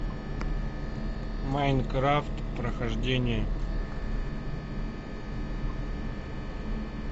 майнкрафт прохождение